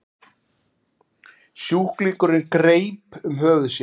Sjúklingurinn greip um höfuð sér.